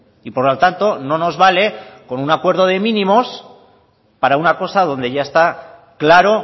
y por lo tanto no nos vale con un acuerdo de mínimos para una cosa donde ya está claro